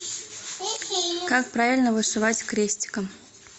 как правильно вышивать крестиком